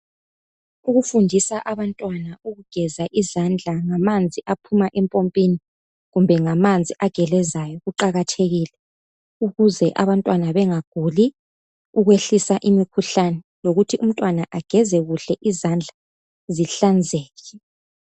Ukufundisa abantwana ukugeza izandla ngamanzi aphuma empompini kumbe ngamanzi agelezayo kuqakathekile ukuze abantwana bengaguli, ukuyehlisa imikhuhlane lokuthi umntwana ageze kuhle izandla zihlanzeke.